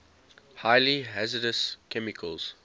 highly hazardous chemicals